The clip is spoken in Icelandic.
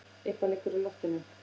Eitthvað liggur í loftinu!